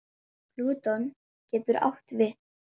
Plúton getur átt við